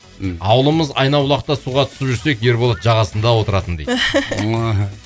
м ауылымыз айнабулақта суға түсіп жүрсек ерболат жағасында отыратын дейді